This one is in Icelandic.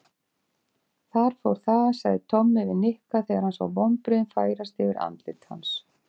Þar fór það sagði Tommi við Nikka þegar hann sá vonbrigðin færast yfir andlit hans.